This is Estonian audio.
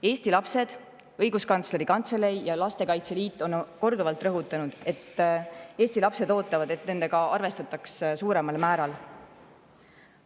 Eesti lapsed, Õiguskantsleri Kantselei ja Lastekaitse Liit on korduvalt rõhutanud, et Eesti lapsed ootavad, et nendega arvestataks suuremal määral.